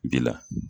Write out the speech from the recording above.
Bi la